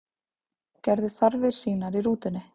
Gerði þarfir sínar í rútunni